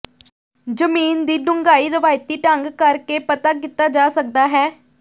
ਜ਼ਮੀਨ ਦੀ ਡੂੰਘਾਈ ਰਵਾਇਤੀ ਢੰਗ ਕਰਕੇ ਪਤਾ ਕੀਤਾ ਜਾ ਸਕਦਾ ਹੈ